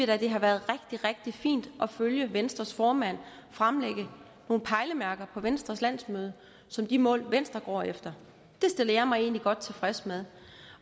da været rigtig rigtig fint at følge venstres formand fremlægge nogle pejlemærker på venstres landsmøde som de mål venstre går efter det stiller jeg mig egentlig godt tilfreds med